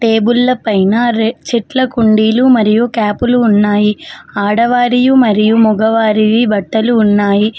టేబుల్ల పైన రే చెట్ల కుండీలు మరియు క్యాపులు ఉన్నాయి ఆడవారియి మరియు మగవారివి బట్టలు ఉన్నాయి.